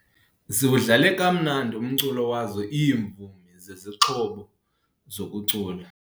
Ziwudlale kamnandi umculo wazo iimvumi zezixhobo zokucula.